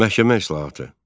Məhkəmə islahatı.